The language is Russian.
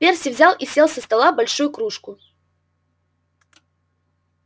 перси взял и сел со стола большую кружку